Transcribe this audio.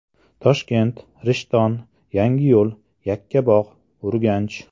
Toshkent, Rishton, Yangiyo‘l, Yakkabog‘, Urganch.